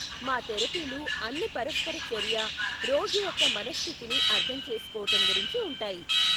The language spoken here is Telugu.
మా తెరపీలు అన్నీ పరస్పర చర్య, రోగి యొక్క మనఃస్థితిని అర్ధం చేసుకోటం గురించి ఉంటాయి.